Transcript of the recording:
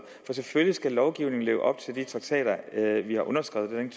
for selvfølgelig skal lovgivningen leve op til de traktater vi har underskrevet